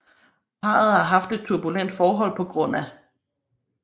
Parret har haft et turbulent forhold pga